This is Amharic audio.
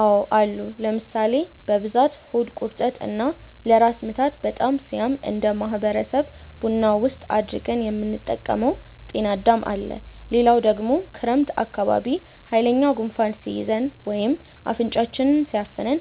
አዎ አሉ ለምሳሌ፦ በብዛት ሆድ ቁርጠት እና ለራስ ምታት በጣም ሲያም እነደ ማህበረሰብ ቡና ውስጥ አድርገን የምንጠቀመው ጤናዳም አለ፣ ሌላው ደግሞ ክረምት አካባቢ ሃይለኛ ጉንፋን ሲይዘን ወይም አፍንጫችንን ሲያፍነን